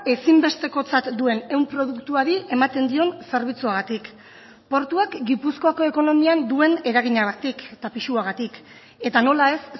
ezinbestekotzat duen ehun produktuari ematen dion zerbitzuagatik portuak gipuzkoako ekonomian duen eraginagatik eta pisuagatik eta nola ez